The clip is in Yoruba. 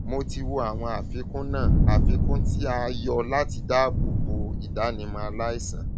mo ti wo àwọn àfikún náà àfikún tí a yọ láti dáàbò bo ìdánimọ aláìsàn